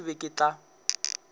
wena ke be ke tla